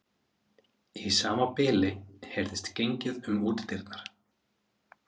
Í sama bili heyrðist gengið um útidyrnar.